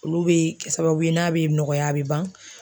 Olu bɛ kɛ sababu ye n'a bɛ nɔgɔya a bɛ ban.